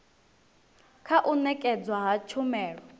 kha u nekedzwa ha tshumelo